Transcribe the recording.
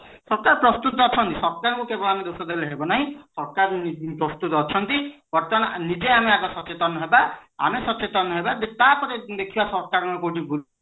ସରକାର ପ୍ରସ୍ତୁତ ଅଛନ୍ତି ସରକାର ଙ୍କୁ କେବଳ ଦୋଷ ଦେଲେ ହେବ ନାହିଁ ସରକାର ପ୍ରସ୍ତୁତ ଅଛନ୍ତି ବର୍ତମାନ ନିଜେ ଆମେ ଆଗ ସଚତନ ହବା ଆମେ ସଚେତନ ହେବା ତାପରେ ଦେଖିବା ସରକାର ଙ୍କ କେଉଁଠି ଭୁଲ